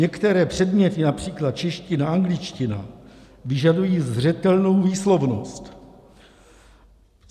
Některé předměty, například čeština, angličtina, vyžadují zřetelnou výslovnost.